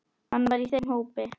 Hann var í þeim hópi.